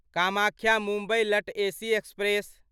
कामाख्या मुम्बई लट AC express